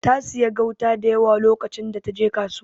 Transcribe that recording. Ta siya gauta dayawa lokacin da taje kasuwa.